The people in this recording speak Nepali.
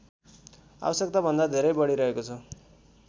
आवश्यकताभन्दा धेरै बढिरहेको छ